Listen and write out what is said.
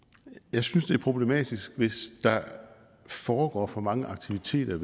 jeg synes det er problematisk hvis der foregår for mange aktiviteter